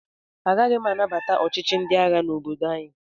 Agaghị m anabata ọchịchị ndị agha n'obodo anyị.